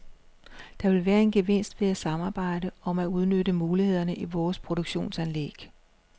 Der vil være en gevinst ved at samarbejde om at udnytte mulighederne i vores produktionsanlæg.